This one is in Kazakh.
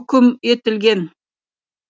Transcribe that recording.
үкім етілген